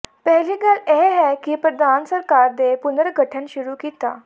ਪਹਿਲੀ ਗੱਲ ਇਹ ਹੈ ਕਿ ਪ੍ਰਧਾਨ ਸਰਕਾਰ ਦੇ ਪੁਨਰਗਠਨ ਸ਼ੁਰੂ ਕੀਤਾ